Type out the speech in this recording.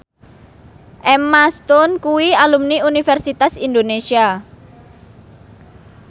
Emma Stone kuwi alumni Universitas Indonesia